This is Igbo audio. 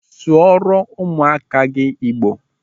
Sụọrọ ụmụaka gị Igbo!